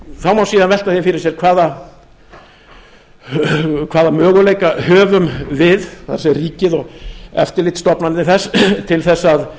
það má síðan velta því fyrir sér hvaða möguleika höfum við það er ríkið og eftirlitsstofnanir þess til þess að